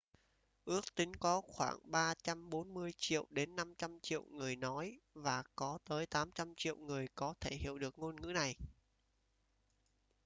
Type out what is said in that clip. ước tính có khoảng 340 triệu đến 500 triệu người nói và có tới 800 triệu người có thể hiểu được ngôn ngữ này